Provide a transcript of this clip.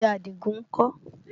Oúnjẹ Àdìgún ń kọ́?